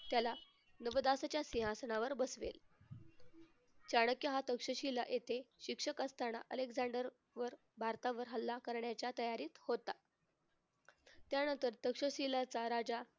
त्याला नवदासच्या सिंहासनावर बसवेल. चाणक्य हा तक्षशिला येथे शिक्षक असताना अलेकझांडर वर भारतावर हल्ला करण्याच्या तयारीत होता. त्यानंतर तक्षशिलाचा राजा